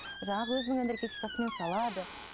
жаңағы өзінің энергетикасымен салады